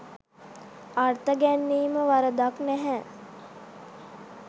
අර්ථ ගැන්වීම වරදක් නැහැ.